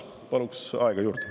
Palun aega juurde.